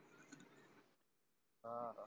झालं